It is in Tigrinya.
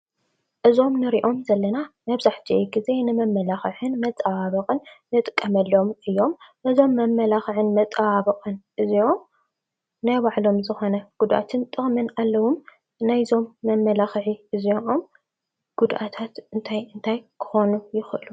እዞም ንሪኦም ዘለና መብዛሕትኡ ግዘ ንመማላኽዕን መፀባበቕን ንጥቀመሎም እዮም። እዞም መማላኽዕን መፀባበቕን እዚኦም ናይ ባዕሎም ዝኾነ ጎዳእትን ጥቅምን አለዎም። ናይዞም መማላኽዒ እዚኦም ጉድአታትት እንታይ እንታይ ክኾኑ ይኽእል?